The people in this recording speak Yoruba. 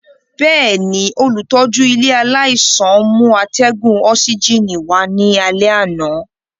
Bẹẹni, olutọju ile alaisan mu atẹgun osigini wa ni alẹ ana.